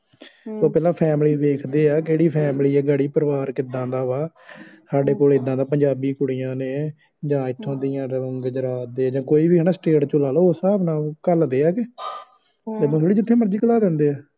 ਹੂੰ ਤੇ ਪਹਿਲਾਂ ਫੈਮਿਲੀ ਦੇਖਦੇ ਗਾੜੀ ਕਿਹੜੀ ਫੈਮਿਲੀ ਆ ਪਰਿਵਾਰ ਕਿੱਦਾਂ ਦਾ ਆ ਸਾਡੇ ਕੋਲ ਇੱਦਾ ਪੰਜਾਬੀ ਕੁੜੀਆਂ ਨੇ ਜਾ ਇਥੋਂ ਦੀਆ ਜਾ ਗੁਜਰਾਤ ਦੀਆ ਜਾ ਕੋਈ ਵੀ ਸਟੇਟ ਤੋਹ ਲਾ ਲੋ ਉਸ ਸਾਹਬ ਨਾਲ ਘਲ ਦੇ ਆ ਏਦਾਂ ਥੋੜੀ ਜਿਥੇ ਮਰਜੀ ਕਲਾ ਦੇਂਦਿਆਂ